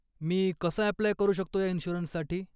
मी कसं अप्लाय करू शकतो या इंश्युरंससाठी?